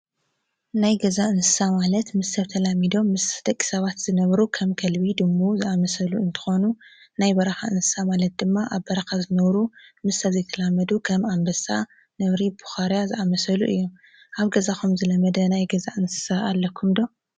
ናይ ገዛ እንሳ ማለት ምስ ሰብ ተላሚዶ ምስደቂ ሰባት ዝነብሩ ኸም ከልቢ ድሙ ዝኣመሰሉ እንተኾኑ ናይ በራኻ እንሳ ማለት ድማ ኣብ በራኻ ዝነሩ ምስብዘይተላመዱ ኸም ኣምበሳ ነብሪ ብዃርያ ዝኣመሰሉ እዮም ኣብ ገዛኾም ዝለመደ ናይ ገዛ እንሳ ኣለኩምዶኣለኩምዶ።